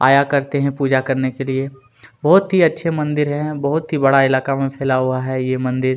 आया करते हैं पूजा करने के लिए बहुत ही अच्छे मंदिर हैं बहुत ही बड़ा इलाका में फैला हुआ है ये मंदिर--